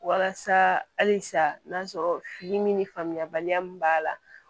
Walasa halisa n'a sɔrɔ fini min ni faamuyabaliya min b'a la